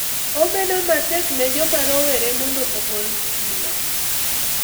Obedo matek ne joma rowere mondo ogol stima